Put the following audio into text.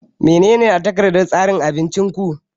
Menene a takardar tsarin abincin ku?